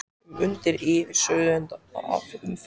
um, undir og yfir, suðandi af umferð.